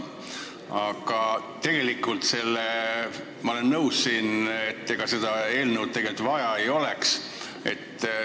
Aga ma olen nõus, et ega seda eelnõu tegelikult vaja ei oleks.